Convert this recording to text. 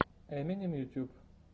эминем ютюб